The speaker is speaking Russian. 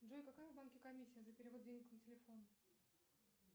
джой какая в банке комиссия за перевод денег на телефон